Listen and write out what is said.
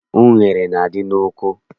Unere na- adị n'oko